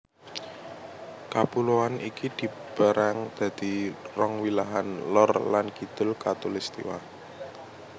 Kapuloan iki dipérang dadi rong wilahan lor lan kidul khatulistiwa